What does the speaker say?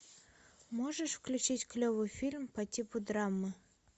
можешь включить клевый фильм по типу драмы